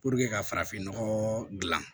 ka farafin nɔgɔ dilan